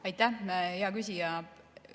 Aitäh, hea küsija!